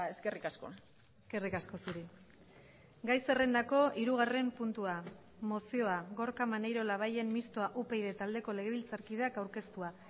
eskerrik asko eskerrik asko zuri gai zerrendako hirugarren puntua mozioa gorka maneiro labayen mistoa upyd taldeko legebiltzarkideak aurkeztua